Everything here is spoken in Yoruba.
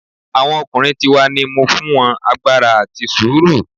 Awọn ọkunrin ti wa ni mo fun won agbara ati suru